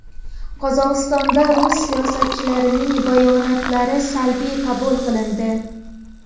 Qozog‘istonda rus siyosatchilarining bayonotlari salbiy qabul qilindi.